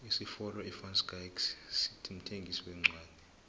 isifolo ivanschaick mthengisi wencwodi